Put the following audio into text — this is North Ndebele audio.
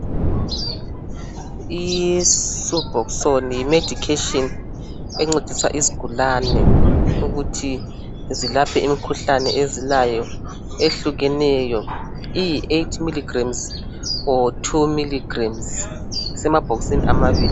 Isubhoxoni yomedication encedisayo izigulane ukuthi zilatshwe zisile ,i8miligemuzi ilombala ohlukahlukeneyo.